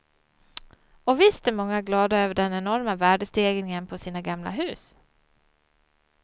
Och visst är många glada över den enorma värdestegringen på sina gamla hus.